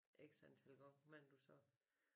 X antal gange hvad end du sagde